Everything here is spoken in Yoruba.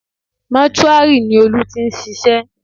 Mọ́túárì ni Olú ti ń ṣiṣẹ́